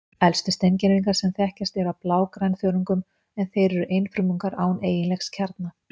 Elstu steingervingar sem þekkjast eru af blágrænþörungum, en þeir eru einfrumungar án eiginlegs kjarna.